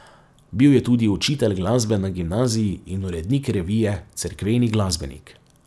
Bil je tudi učitelj glasbe na gimnaziji in urednik revije Cerkveni glasbenik.